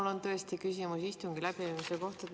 Mul on tõesti küsimusi istungi läbiviimise kohta.